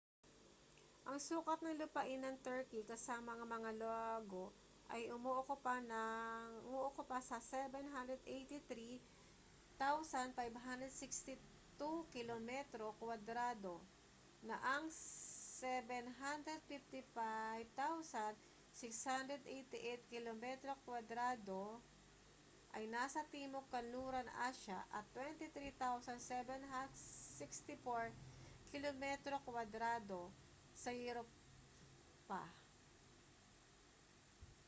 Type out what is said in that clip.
ang sukat ng lupain ng turkey kasama ang mga lago ay umookupa sa 783,562 kilometro kuwadrado 300,948 sq mi na ang 755,688 kilometro kuwadrado 291,773 sq mi ay nasa timog kanlurang asya at 23,764 kilometro kuwadrado 9,174 sq mi sa europa